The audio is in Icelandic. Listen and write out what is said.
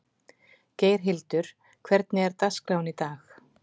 Geirhildur, hvernig er dagskráin í dag?